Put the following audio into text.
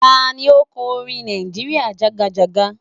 Tá ni ó kọ orin "Nàìjíríà jàgàjágá..."?